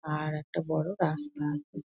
আর একটা বড় রাস্তা আছে।